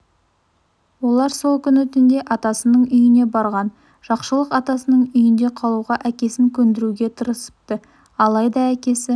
олар сол күні түнде атасының үйіне барған жақшылық атасының үйінде қалуға әкесін көндіруге тырысыпты алайда әкесі